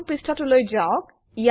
প্ৰথম পৃষ্ঠাটোলৈ যাওক